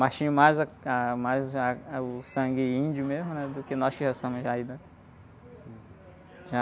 Mas tinham mais a, ah, mais, ah, o sangue índio mesmo, né, do que nós que já somos daí, né.